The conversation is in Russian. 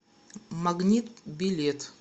магнит билет